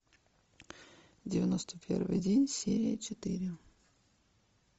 девяносто первый день серия четыре